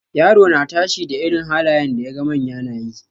Yaro na tashi da irin halayen da yaga manya nayi.